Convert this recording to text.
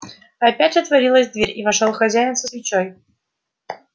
опять отворилась дверь и вошёл хозяин со свечой